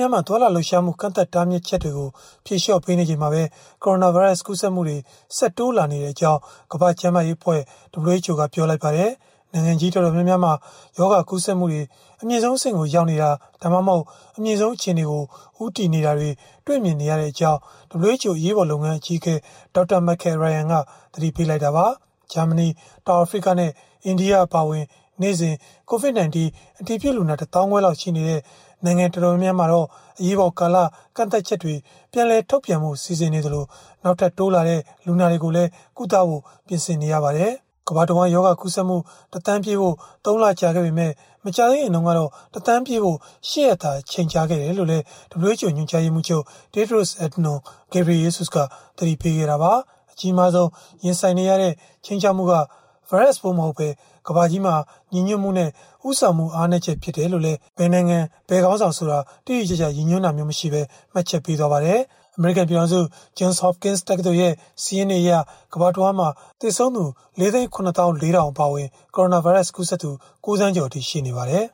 ျားများမှာ သွားလာလှုပ်ရှားမှု ကန့်သတ်တားမြစ်ချက်တွေကို ဖြေလျှော့ပေးနေချိန်မှာပဲ ကိုရိုနာဗိုင်းရပ်စ် ကူးစက်မှုတွေ ဆက်တိုးလာနေကြောင်း ကမ္ဘာ့ကျန်းမာရေးအဖွဲ့ (WHO) ကပြောပါတယ်။ နိုင်ငံကြီးတော်တော်များများမှာ ရောဂါကူးစက်မှုတွေ အမြင့်ဆုံးအဆင့်ကို ရောက်နေတာ၊ ဒါမှမဟုတ် အမြင့်ဆုံးအခြေအနေကို ဦးတည်နေတာတွေ တွေ့မြင်နေရကြောင်း WHO အရေးပေါ်လုပ်ငန်း အကြီးအကဲ Dr. Michael Ryan က သတိပေးခဲ့တာပါ။ ဂျာမနီ၊ တောင်အာဖရိကနဲ့ အိန္ဒိယ အပါအဝင် နေ့စဉ် COVID-19 အတည်ပြုလူနာ ၁၅,၀၀၀ ခွဲလောက်ရှိနေတဲ့ နိုင်ငံတော်တော်များများမှာတော့ အရေးပေါ်ကာလ ကန့်သတ်ချက်တွေ ပြန်လည်ထုတ်ပြန်ဖု့ိ စီစဉ်နေသလို နောက်ထပ်တိုးလာတဲ့ လူနာတွေကို ကုသဖို့လည်း ပြင်ဆင်နေရပါတယ်။ အစောပိုင်းက ကမ္ဘာတဝန်း ရောဂါကူးစက်မှု ၁,၀၀၀,၀၀၀ ပြည့်ဖို့ ၃ လကြာခဲ့ပေမဲ့ မကြာသေးခင်ကတော့ ၁,၀၀၀,၀၀၀ ပြည့်ဖို့ ၈ ရက်သာ ကြာခဲ့တယ်လို့လည်း WHO ညွှန်ကြားရေးမှူးချုပ် Tedros Adhanom Ghebreyesus က သတိပေးခဲ့တာပါ။ အကြီးမားဆုံး ရင်ဆိုင်နေရတဲ့ ခြိမ်းခြောက်မှုက ဗိုင်းရပ်စ်ပိုးမဟုတ်ဘဲ ကမ္ဘာကြီးမှာ ညီညွှတ်မှုနဲ့ ဦးဆောင်မှု အားနည်းချက် ဖြစ်တယ်လို့လည်း ဘယ်နိုင်ငံ၊ ဘယ်ခေါင်းဆောင်ဆိုတာကို တိတိကျကျ ရည်ညွှန်းတာမျိုး မရှိဘဲ မှတ်ချက်ပေးခဲ့ပါတယ်။ အမေရိကန် ပြည်ထောင်စု Johns Hopkins တက္ကသိုလ်ရဲ့ စာရင်းတွေအရ ကမ္ဘာတဝန်းမှာ သေဆုံးသူ ၄၇၄,၀၀၀ အပါအဝင် ကိုရိုနာဗိုင်းရပ်စ် ကူးစက်သူ ၉,၀၀၀,၀၀၀ ကျော်အထိ ရှိနေပါတယ်